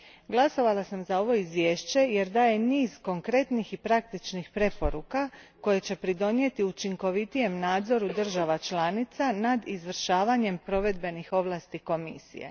Glasovala sam za ovo izvješće, jer daje niz konkretnih i praktičnih preporuka koje će doprinijeti učinkovitijem nadzoru država članica nad izvršavanjem provedbenih ovlasti Komisije.